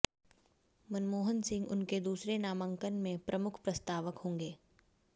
मनमोहन सिंह उनके दूसरे नामांकन में प्रमुख प्रस्तावक होंगे